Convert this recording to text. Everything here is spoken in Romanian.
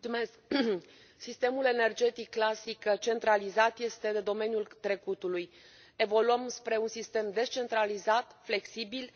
Domnule președinte, sistemul energetic clasic centralizat este de domeniul trecutului. Evoluăm spre un sistem descentralizat, flexibil,